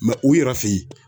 u yɛrɛ feyi.